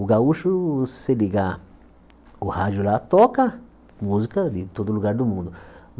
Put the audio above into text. O gaúcho, se ligar o rádio lá, toca música de todo lugar do mundo.